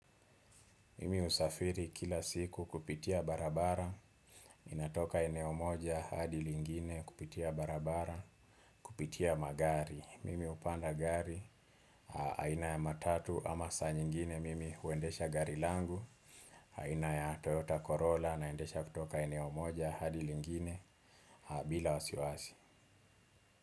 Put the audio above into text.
Mimi husafiri kila siku kupitia barabara. Inatoka eneo moja hadi lingine kupitia barabara. Kupitia magari, mimi hupanda gari aina ya matatu ama saa nyingine mimi huendesha gari langu aina ya Toyota Corolla naendesha kutoka eneo moja hadi lingine. Bila wasiwasi.